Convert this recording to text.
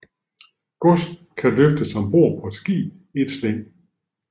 Gods kan løftes om bord på et skib i et slæng